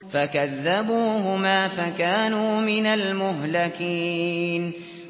فَكَذَّبُوهُمَا فَكَانُوا مِنَ الْمُهْلَكِينَ